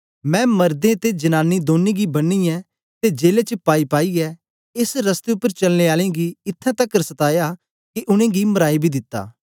मैं मर्दे ते जानानी दौनीं गी बन्नीयै ते जेले च पाईपाईयै एस रस्ते उपर चलने आलें गी इत्थैं तकर सताया के उनेंगी मराई बी दिता